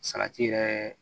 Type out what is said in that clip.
Salati yɛrɛ